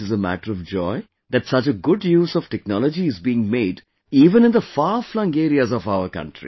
And it is a matter of joy that such a good use of technology is being made even in the farflung areas of our country